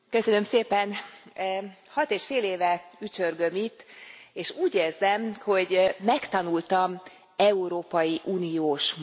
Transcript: Hat és fél éve ücsörgök itt, és úgy érzem, hogy megtanultam európai uniós módon gondolkodni.